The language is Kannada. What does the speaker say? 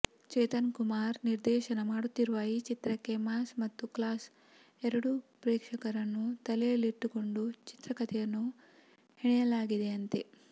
ಚೇತನ್ ಕುಮಾರ್ ನಿರ್ದೇಶನ ಮಾಡುತ್ತಿರುವ ಈ ಚಿತ್ರಕ್ಕೆ ಮಾಸ್ ಮತ್ತು ಕ್ಲಾಸ್ ಎರಡು ಪ್ರೇಕ್ಷಕರನ್ನು ತಲೆಯಲ್ಲಿಟ್ಟುಕೊಂಡು ಚಿತ್ರಕಥೆಯನ್ನು ಹೆಣೆಯಲಾಗಿದೆಯಂತೆ